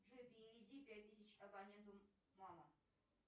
джой переведи пять тысяч абоненту мама